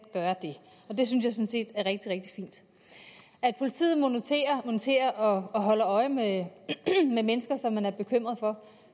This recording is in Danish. gøre det og det synes jeg sådan set er rigtig rigtig fint at politiet moniterer moniterer og holder øje med mennesker som man er bekymret for